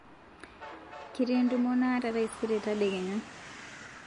ketii entumo naata taisere tadekenya